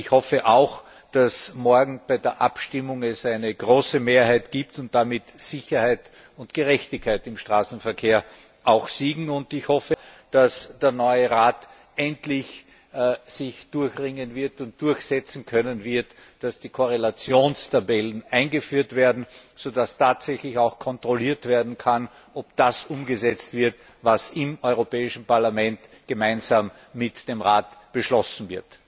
Ich hoffe auch, dass es bei der Abstimmung morgen eine große Mehrheit gibt und damit Sicherheit und Gerechtigkeit im Straßenverkehr siegen sowie dass sich der Rat unter dem neuen Vorsitz endlich dazu durchringen wird und durchsetzen können wird, dass die Korrelationstabellen eingeführt werden, sodass tatsächlich kontrolliert werden kann, ob das umgesetzt wird, was im Europäischen Parlament gemeinsam mit dem Rat beschlossen wurde.